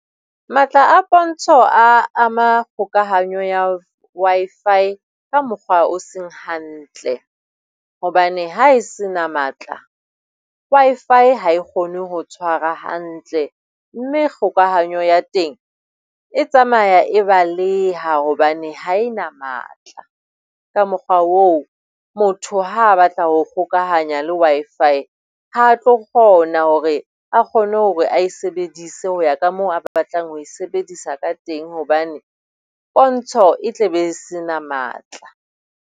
Matla a pontsho a ama kgokahanyo ya Wi-Fi ka mokgwa o seng hantle. Hobane ha e se na matla Wi-Fi ha e kgone ho tshwara hantle mme kgokahanyo ya teng e tsamaya e baleha hobane ha e na matla. Ka mokgwa oo motho ha a batla ho kgokahanya le Wi-Fi, ha a tlo kgona hore a kgone hore a e sebedise ho ya ka moo a ba batlang ho e sebedisa ka teng hobane pontsho e tle be e se na matla.